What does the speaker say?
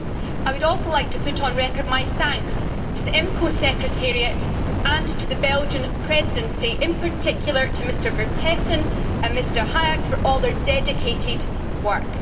I would also like to put on record my thanks to the IMCO Secretariat and to the Belgian Presidency, in particular, to Mr Vertessen and Mr Haerynck for all their dedicated work.